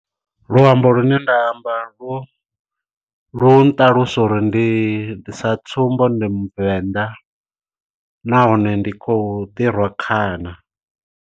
Luambo lu ne nda amba lu lu nṱalusa uri ndi sa tsumbo ndi muvenḓa nahone ndi khou ḓi rwa khana.